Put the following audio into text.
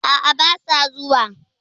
A'a basa zuwa.